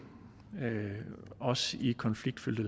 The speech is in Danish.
også i konfliktfyldte